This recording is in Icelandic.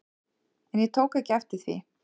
En ég tók ekki eftir því.